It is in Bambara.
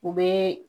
U bɛ